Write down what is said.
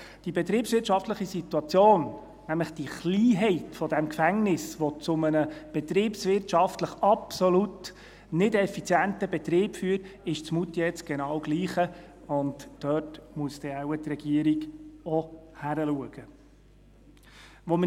Die betriebswirtschaftliche Situation, nämlich die Kleinheit dieses Gefängnisses, die zu einem betriebswirtschaftlich absolut nicht effizienten Betrieb führt, ist in Moutier genau dieselbe, und dort muss dann die Regierung wohl auch hinschauen.